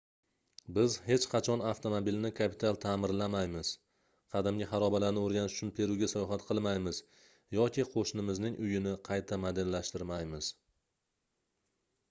biz hech qachon avtomobilni kapital taʼmirlamaymiz qadimgi xarobalarni oʻrganish uchun peruga sayohat qilmaymiz yoki qoʻshnimizning uyini qayta modellashtirmaymiz